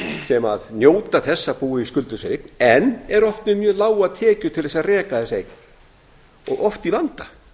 sem njóta þess að búa í skuldlausri eign en eru oft með mjög lágar tekjur til að reka þessa eign og oft í vanda